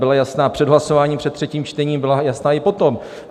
Byla jasná před hlasováním, před třetím čtením, byla jasná i potom.